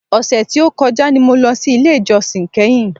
Ọ̀sẹ̀ tí o kọjá ni mo lọ sí ilé ìjósìn kẹ́hìn.